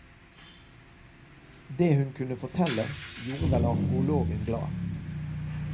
Det hun kunne fortelle, gjorde vel arkeologen glad.